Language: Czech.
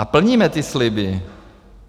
A plníme ty sliby.